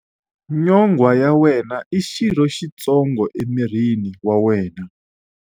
Nyonghwa ya wena i xirho xitsongo emirini wa wena.